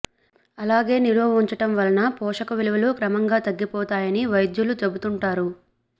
అలాగే నిలువ ఉంచడం వలన పోషక విలువలు క్రమంగా తగ్గిపోతాయని వైద్యులు చెబుతుంటారు